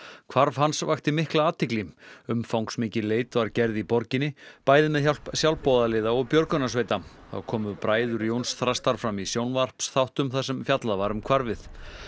hvarf hans vakti mikla athygli umfangsmikil leit var gerð í borginni bæði með hjálp sjálfboðaliða og björgunarsveita þá komu bræður Jóns Þrastar fram í sjónvarpsþáttum þar sem fjallað var um hvarfið